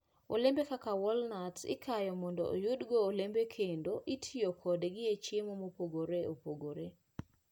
Olembe kaka walnuts ikayo mondo oyudgo olembe kendo itiyo kodgi e chiemo mopogore opogore.